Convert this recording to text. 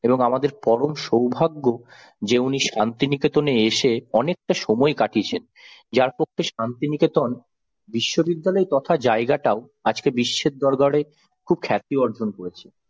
এবং আমাদের পরম সৌভাগ্য, যে উনি শান্তিনিকেতনে এসে অনেকটা সময় কাটিয়েছেন যার পক্ষে শান্তিনিকেতন বিশ্ববিদ্যালয় তথা জায়গাটাও আজকে বিশ্বের দরবারে খুব খ্যাতি অর্জন করেছে।